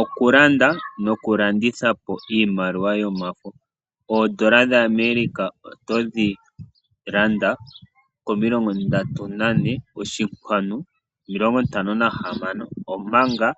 Okulanda nokulandithapo iimaliwa yomafo. Oodola dhaAmerica otodhi landa komilongo ndatu nane oshinkwanu omilongo ntano nahamano, omanga